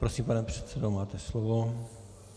Prosím, pane předsedo, máte slovo.